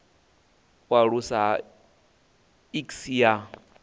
u aluswa ha iks sa